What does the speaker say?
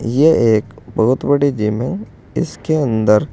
ये एक बहोत बड़ी जिम है इसके अंदर--